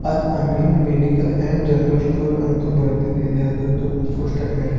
all Ameen medical and general store ಅಂತೂ ಬರೆದಿದ್ ಇದೆ ಅದುರ್ದು ಪೋಸ್ಟರ್ ನ ಮೇಲೆ--